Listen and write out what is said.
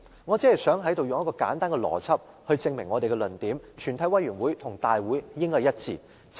我只想在此用簡單的邏輯，證明民主派的論點，即全委會與立法會大會兩者應該一致。